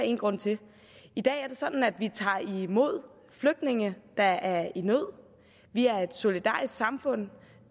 en grund til i dag er det sådan at vi tager imod flygtninge der er i nød vi er et solidarisk samfund